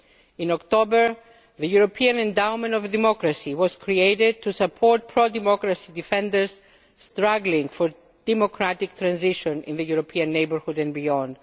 further. In October, the European Endowment for Democracy was created to support pro democracy defenders struggling for democratic transition in the European neighbourhood and